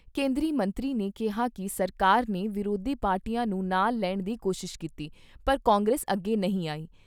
ਕੇਂਦਰੀ ਮੰਤਰੀ ਨੇ ਕਿਹਾ ਕਿ ਸਰਕਾਰ ਨੇ ਵਿਰੋਧੀ ਪਾਰਟੀਆਂ ਨੂੰ ਨਾਲ ਲੈਣ ਦੀ ਕੋਸ਼ਿਸ਼ ਕੀਤੀ ਪਰ ਕਾਂਗਰਸ ਅੱਗੇ ਨਹੀਂ ਆਈ।